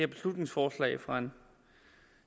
beslutningsforslag fra en